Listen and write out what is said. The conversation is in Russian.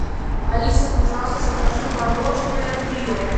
алиса пожалуйста закажи мороженое трио